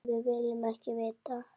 Nei, við viljum ekki vita.